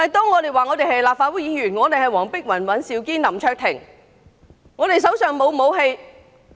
我們說我們是立法會議員黃碧雲、尹兆堅及林卓廷，手上並無武器。